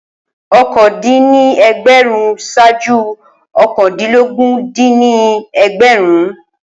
okòó dín ní ẹgbẹ̀rún ṣaaju òkàndínlógún dín ní ẹgbẹ̀rún